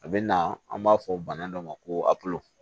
A bɛ na an b'a fɔ bana dɔ ma ko